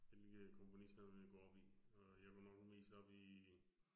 Vælge komponister man går op i, og jeg går nok mest op i